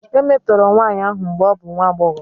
E metọrọ nwanyị ahụ mgbe ọ bụ nwa agbọghọ.